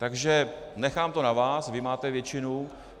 Takže nechám to na vás, vy máte většinu.